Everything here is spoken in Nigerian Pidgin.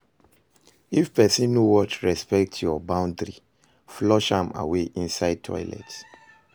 If pesin no wan respect yur boundary, flush am away inside toilet